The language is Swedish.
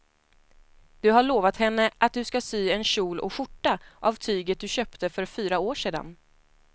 Du har lovat henne att du ska sy en kjol och skjorta av tyget du köpte för fyra år sedan.